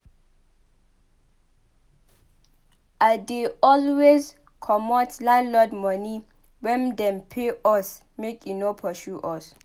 I dey always comot landlord moni wen dem pay us make e no pursue us.